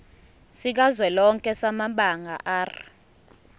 sikazwelonke samabanga r